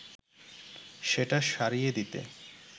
সেটা সারিয়ে দিতে